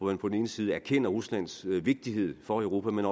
man på den ene side erkende ruslands vigtighed for europa men